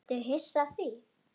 Ertu hissa á því?